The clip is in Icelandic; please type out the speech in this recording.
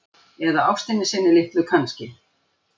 Eða ástinni sinni litlu kannski.